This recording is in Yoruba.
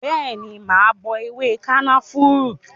Bẹẹni, mà á bọ ewé kànáfùrú